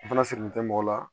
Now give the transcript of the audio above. O fana sigilen tɛ mɔgɔ la